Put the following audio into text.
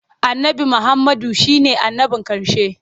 Annabi Muhammadu shi ne annabin ƙarshe.